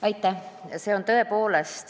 Aitäh!